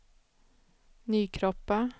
Nykroppa